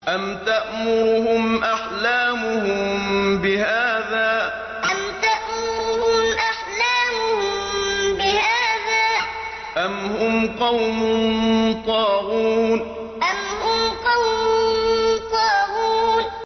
أَمْ تَأْمُرُهُمْ أَحْلَامُهُم بِهَٰذَا ۚ أَمْ هُمْ قَوْمٌ طَاغُونَ أَمْ تَأْمُرُهُمْ أَحْلَامُهُم بِهَٰذَا ۚ أَمْ هُمْ قَوْمٌ طَاغُونَ